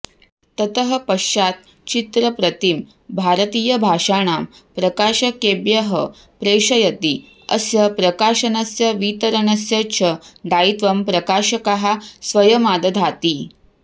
ततः पश्चात् चित्रप्रतिं भारतीयभाषाणां प्रकाशकेभ्यः प्रेषयति अस्य प्रकाशनस्य वितरणस्य च दायित्वं प्रकाशकाः स्वयमादधाति